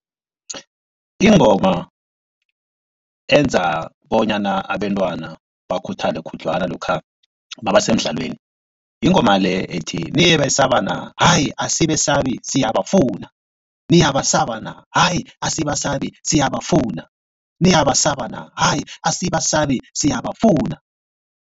Ingoma enza bonyana abentwana bakhuthale khudlwana lokha nabasemdlalweni yingoma le ethi, niyebesaba na? Hayi asibesabi siyabafuna, niyabasa na? Hayi asibasabi siyabafuna, niyabasa na? Hayi asibasabi siyabafuna.